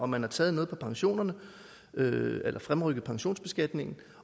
man har taget noget fra pensionerne ved at fremrykke pensionsbeskatningen